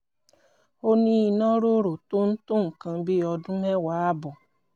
ó ní ìnororo tó ń tó nǹkan bí ọdún mẹ́wàá ààbọ̀